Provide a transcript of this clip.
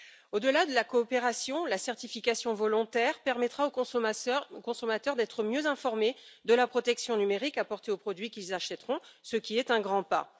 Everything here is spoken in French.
Au delà de la coopération, la certification volontaire permettra aux consommateurs d'être mieux informés de la protection numérique apportée aux produits qu'ils achèteront, ce qui est un grand pas.